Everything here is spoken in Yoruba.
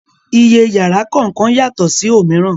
Iye yàrá kọ̀ọ̀kan yàtọ̀ sí òmíràn